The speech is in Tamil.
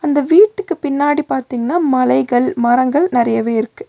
இந்த வீட்டுக்கு பின்னாடி பாத்தீங்னா மலைகள் மரங்கள் நறையவே இருக்கு.